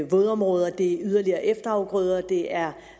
vådområder det er yderligere efterafgrøder det er